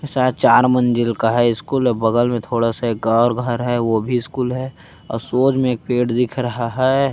शायद चार मंजिल का है स्कूल और बगल में थोड़ा सा एक और घर है वो भी स्कूल है और सोज में एक पेड़ दिख रहा है।